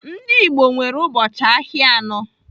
Ndị Igbo nwere ụbọchị ahịa anọ.